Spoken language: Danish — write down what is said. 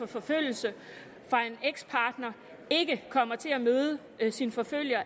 forfølgelse fra en ekspartner ikke kommer til at møde sin forfølger